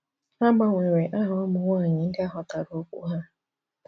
A gbanwere aha ụmụ nwanyị ndị ahotara okwu ha.